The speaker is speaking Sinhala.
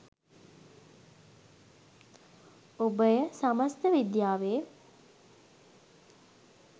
ඔබ එය සමස්ත විද්‍යාවේ